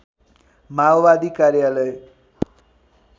माओवादी कार्यालय